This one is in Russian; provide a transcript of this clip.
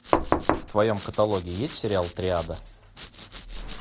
в твоем каталоге есть сериал триада